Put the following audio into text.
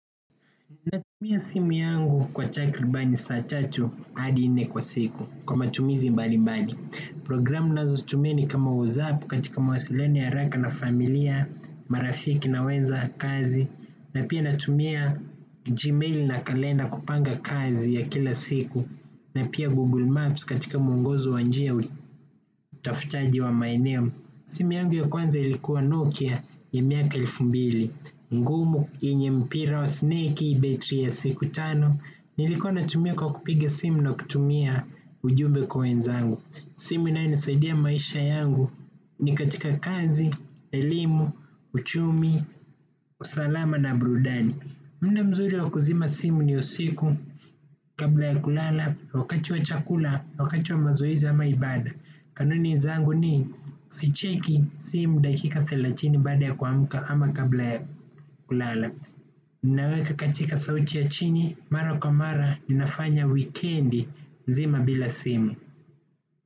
Natumia simu yangu kwa takribani saa tatu hadi nne kwa siku kwa matumizi mbalimbali. Programu ninazotumia ni kama WhatsApp katika mawasiliano ya haraka na familia, marafiki na wenzangu kazini, na pia natumia gmail na kalenda kupanga kazi ya kila siku, na pia Google Maps katika mwongozo wa njia na utafutaji wa maeneo. Simu yangu ya kwanza ilikuwa Nokia ya miaka elfu mbili, ngumu, yenye mpira wa snake, betri ya siku tano. Nilikuwa natumia kwa kupiga simu na kutumia ujumbe kwa wenzangu. Simu inayonisaidia maisha yangu ni katika kazi, elimu, uchumi, usalama na burudani. Wakati mzuri wa kuzima simu ni usiku. Kabla ya kulala, wakati wa chakula, wakati wa mazoezi ama ibada. Kanuni zangu ni sicheki simu dakika thelathini baada ya kuamka ama kabla ya kulala. Ninaweka katika sauti ya chini mara kwa mara ninafanya wikendi nzima bila simu.